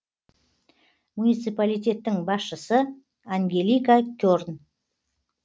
муниципалитеттің басшысы ангелика керн